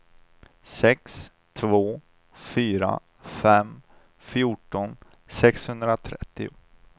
sex två fyra fem fjorton sexhundratrettio